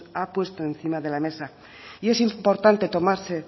ha puesto encima de la mesa y es importante tomarse